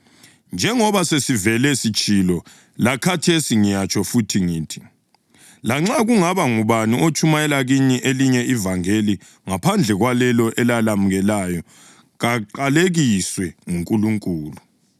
Njengoba sesivele sitshilo, lakhathesi ngiyatsho futhi ngithi: Lanxa kungaba ngubani otshumayela kini elinye ivangeli ngaphandle kwalelo elalamukelayo, kaqalekiswe nguNkulunkulu!